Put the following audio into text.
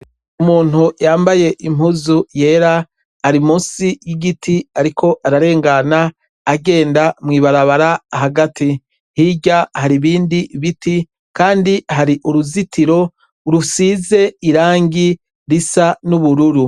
Umuntu yambaye impuzu yera ari munsi y'igiti, ariko ararengana agenda mw'ibarabara hagati. Hirya hari ibindi biti, kandi hari uruzitiro rusize irangi risa n'ubururu.